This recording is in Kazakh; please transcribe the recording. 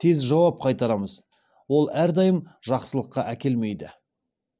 тез жауап қайтарамыз ол әрдайым жақсылыққа әкелмейді